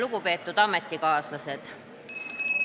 Lugupeetud ametikaaslased!